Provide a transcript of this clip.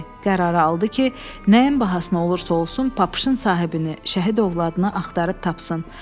Qərar aldı ki, nəyin bahasına olursa olsun papışın sahibini şəhid övladına axtaracaq.